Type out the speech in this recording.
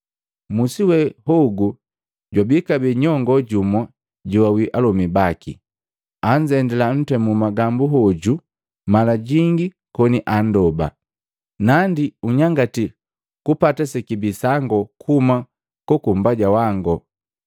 Mmusi we hogu jwabii kabee nyongo jumu joawii alomi baki, anzendila ntemu magambu hoju mala jingi koni andoba, ‘Nandi unyangatia kupata sekibii sangu kuhuma kuka mmbaja wango!’